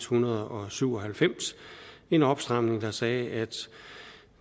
hundrede og syv og halvfems en opstramning der sagde at